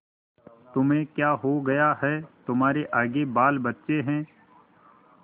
तुम्हें क्या हो गया है तुम्हारे आगे बालबच्चे हैं